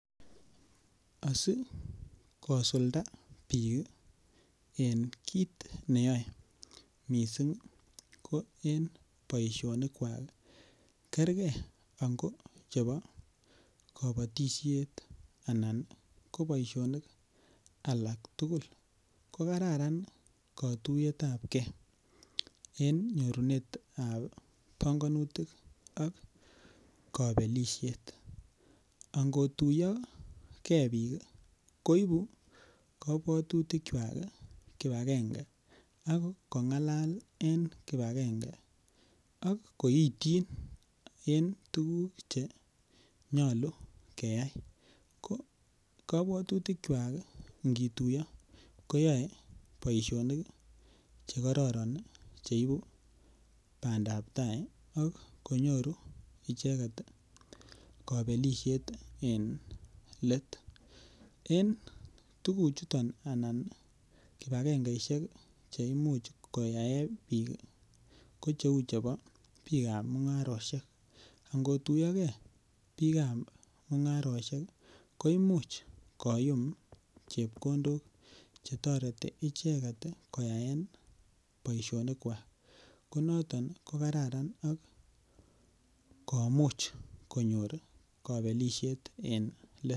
Asikosulda bik en kit neyoe missing' ko en boisionikwak ii kerker inko chebo kobotishet anan koboishonik alak tugul kokararan kotuyetab kee en nyorunetab bongonutik ok kobelishet, angotuyo kee bik ii koibu kobwotitikyak kipagenge ak kongalal en kipagenge ok koityin en tuguk chenyolu keyai , ko kobwotutikwak ingituyo koyoe boisionik chekororon ok konyoru icheket kobelishet en let en tuguchuton anan kipagengeishek cheimuch koyaen bik ko cheu chebo bikab mungaroshek, angotuyokee bikab mungaroshek koimuch koyum chepkondok chetoreti icheket koyaen boisionikwak konoton kokararan ak komuch konyor kobelishet en let.